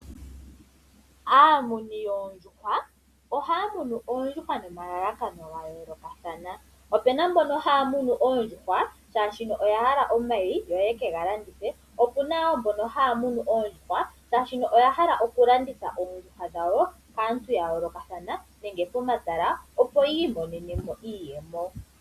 Aamuni yoondjuhwa ohaya munu oondjuhwa nomalalakano ga yookathana opu na mbono haya munu oondjuhwa oshoka oya hala omayi yo yeke ga landithe opu na wo mbono haya munu oondjuhwa oshoka oya hala okulanditha oondjuhwa dhawo kaantu ya yoolokathana nenge pomatala opo yi imonenemo iiyemo.